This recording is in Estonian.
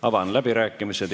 Avan läbirääkimised.